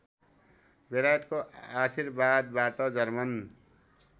बेलायतको आशीर्वादबाट जर्मन